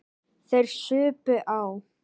Þeir supu á.